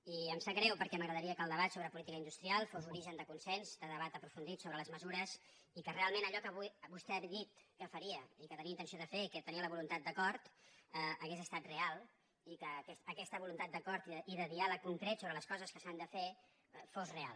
i em sap greu perquè m’agradaria que el debat sobre política industrial fos origen de consens de debat aprofundit sobre les mesures i que realment allò que avui vostè ha dit que faria i que tenia intenció de fer i que tenia la voluntat d’acord hagués estat real i que aquesta voluntat d’acord i de diàleg concret sobre les coses que s’han de fer fos real